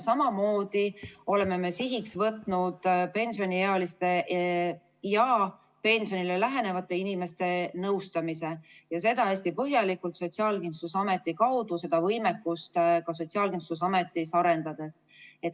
Samamoodi oleme sihiks võtnud pensioniealiste ja pensionile lähenevate inimeste nõustamise ja seda hästi põhjalikult Sotsiaalkindlustusameti kaudu, seda võimekust ka Sotsiaalkindlustusametis arendades.